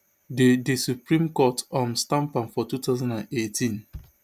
di di supreme court um stamp am for two thousand and eighteen